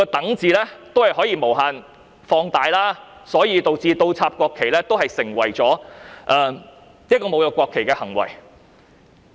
當然，原來"等"字可以無限放大，所以倒插國旗都成為侮辱國旗的行為。